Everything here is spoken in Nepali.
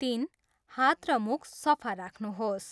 तिन, हात र मुख सफा राख्नुहोस।